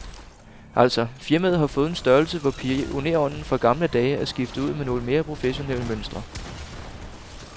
Altså, firmaet har fået en størrelse, hvor pionerånden fra gamle dage er skiftet ud med nogle mere professionelle mønstre.